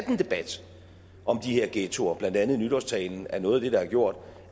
en debat om de her ghettoer blandt andet i nytårstalen er noget af det der har gjort